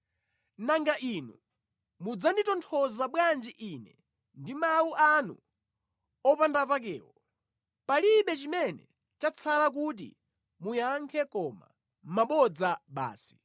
“Nanga inu mudzanditonthoza bwanji ine ndi mawu anu opandapakewo palibe chimene chatsala kuti muyankhe koma mabodza basi!”